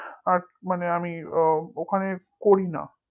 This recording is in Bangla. আর মানে আমি ওখানে করি না